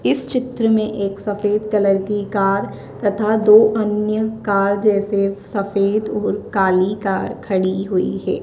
इस चित्र में एक सफेद कलर की कार तथा दो अन्य कार जैसे सफेद और काली कार खड़ी हुई है।